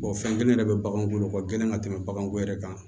fɛn kelen yɛrɛ de bɛ baganw bolo o ka gɛlɛn ka tɛmɛ bagan ko yɛrɛ kan